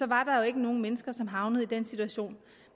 var der ikke nogen mennesker som havnede i den situation